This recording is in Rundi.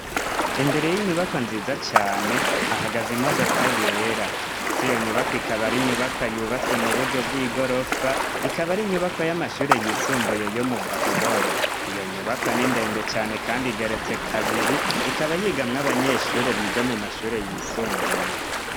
imbere y'inyubakwa nziza cane hahagaze imodoka yera ndetse iyo nyubakwa ikaba ari inyubakwa yubatswe mu buryo bw'igorofa ikaba ari inyubakwa y'amashure yisumbuye yo mu Gahororo iyo nyubakwa n'indende cyane kandi igeretse kabiri ikaba yigamwo abanyeshuri biga mu mashure yisumbuye.